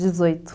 Dezoito.